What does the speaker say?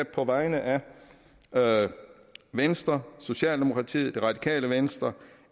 på vegne af venstre socialdemokratiet radikale venstre